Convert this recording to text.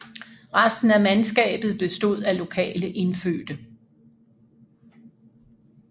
Resten af mandskabet bestod af lokale indfødte